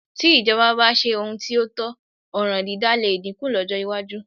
Tí ìjọba bá ṣe ohun tí ó tọ́, ọ̀ràn dídá lè dínkù lọ́jọ́ iwájú